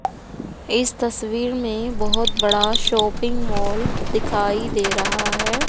इस तस्वीर में बहोत बड़ा शॉपिंग मॉल दिखाई दे रहा है।